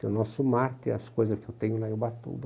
Tem o nosso mar, tem as coisas que eu tenho lá em Ubatuba.